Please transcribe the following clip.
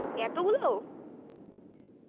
এত গুলো